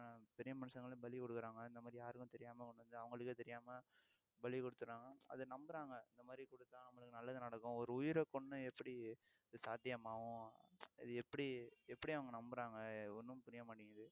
பெரிய மனுஷங்களையும் பலி குடுக்கறாங்க இந்த மாதிரி யாருக்கும் தெரியாம ஒண்ணும் இல்ல அவங்களுக்கே தெரியாம பலி குடுத்திடறாங்க அதை நம்புறாங்க இந்த மாதிரி குடுத்தா நம்மளுக்கு நல்லது நடக்கும் ஒரு உயிரை கொன்னு எப்படி இது சாத்தியமாகும் இது எப்படி எப்படி அவங்க நம்புறாங்க ஒண்ணும் புரிய மாட்டேங்குது